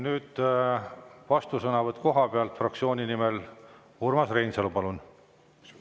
Nüüd vastusõnavõtt koha pealt fraktsiooni nimel, Urmas Reinsalu, palun!